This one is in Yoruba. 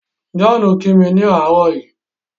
John ki mi ni àárọ̀ yìí.